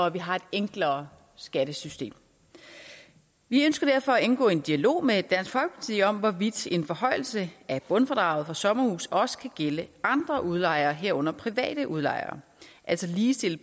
at vi har et enklere skattesystem vi ønsker derfor at indgå i en dialog med dansk folkeparti om hvorvidt en forhøjelse af bundfradraget for sommerhuse også kan gælde andre udlejere herunder private udlejere altså at ligestille